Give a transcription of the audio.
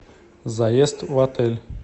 заезд в отель